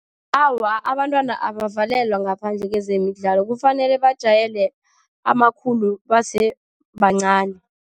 Awa, abantwana abakavalelwa ngaphandle kwezemidlalo. Kufanele bajayele amakhulu base bancani.